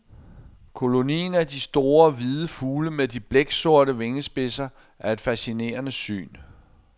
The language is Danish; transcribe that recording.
Kolonien af de store, hvide fugle med de blæksorte vingespidser er et fascinerende syn.